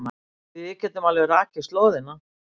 Við getum alveg rakið slóðina.